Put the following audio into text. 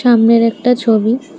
সামনের একটা ছবি--